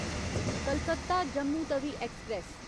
Calcutta Jammu Tawi express